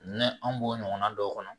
an b'o ɲɔgɔnna dɔw kɔnɔ